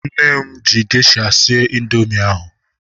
Nne m ji gesha sie indoomị ahu